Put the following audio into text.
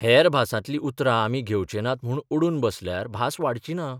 हेर भासांतलीं उतरां आमी घेवचे नात म्हूण अडून बसल्यार भास वाडची ना.